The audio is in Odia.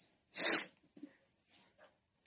sniffing sound